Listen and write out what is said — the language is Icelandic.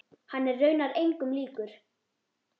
Hann er raunar engum líkur.